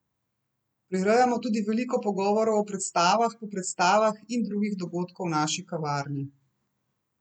Prirejamo tudi veliko pogovorov o predstavah, po predstavah in drugih dogodkov v naši kavarni.